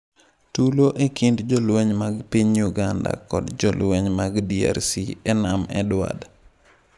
Tulo e kind jolweny mag piny Uganda kod jolweny mag DRC e nam Edward